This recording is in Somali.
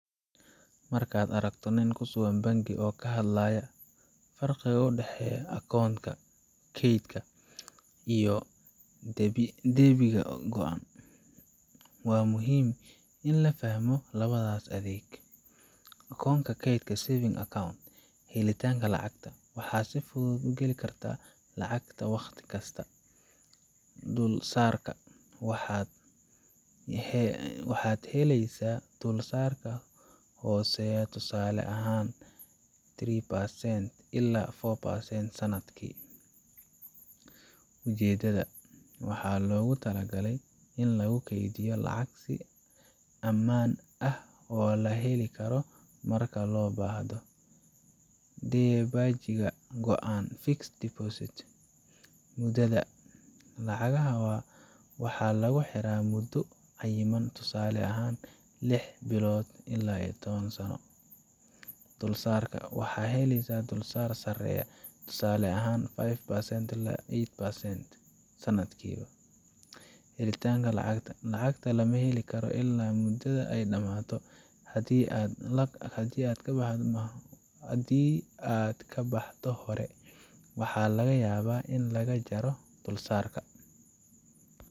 Markaad aragto nin ku sugan bangi oo ka hadlaya farqiga u dhexeeya akoonka kaydka iyo deebiga go'an, waxaa muhiim ah in la fahmo labadaas adeeg Akoonka Kaydka savings Account Helitaanka Lacagta: Waxaad si fudud u geli kartaa lacagtaada wakhti kasta. Dulsaarka: Waxaad helaysaa dulsaarka hooseeya, tusaale ahaan three percent ilaa four percent sanadkii. Ujeedada: Waxaa loogu talagalay in lagu kaydiyo lacag si ammaan ah oo la heli karo marka loo baahdo. Deebaajiga Go'an Fixed Deposit Muddada: Lacagtaada waxaa lagu xiraa muddo cayiman, tusaale ahaan lix bilood ilaa toban sano. Dulsaarka: Waxaad helaysaa dulsaarka sareeya, tusaale ahaan five percent ilaa eight percent sanadkii. Helitaanka Lacagta: Lacagta lama heli karo ilaa muddada ay dhammaato, haddii aad ka baxdo hore, waxaa laga yaabaa in lagaa jaro dulsaarka.